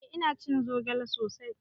Eh ina cin zogale sosai.